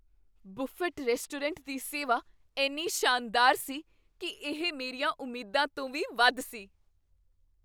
Buffet restaurant ਦੀ ਸੇਵਾ ਇੰਨੀ ਸ਼ਾਨਦਾਰ ਸੀ ਕੀ ਇਹ ਮੇਰੀਆਂ ਉਮੀਦਾਂ ਤੋਂ ਵੀ ਵੱਧ ਸੀ!